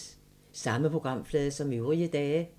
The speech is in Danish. Samme programflade som øvrige dage